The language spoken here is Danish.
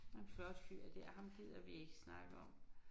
Der en flot fyr dér ham gider vi ikke snakke om